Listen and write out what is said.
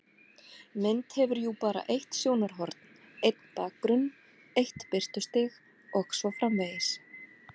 Mynd hefur jú bara eitt sjónarhorn, einn bakgrunn, eitt birtustig og svo framvegis.